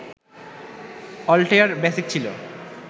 Altair BASIC ছিল